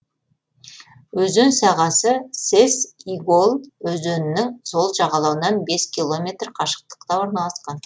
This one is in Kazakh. өзен сағасы сес игол өзенінің сол жағалауынан бес километр қашықтықта орналасқан